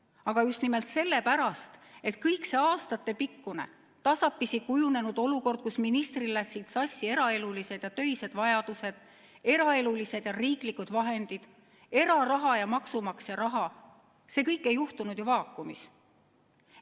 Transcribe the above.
Aga just nimelt sellepärast, et kogu see aastatepikkune, tasapisi kujunenud olukord, kus ministril läksid sassi eraelulised ja töised vajadused, eraelulised ja riiklikud vahendid, eraraha ja maksumaksja raha, ei juhtunud ju vaakumis.